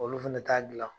Olu fɛnɛ t'a dilan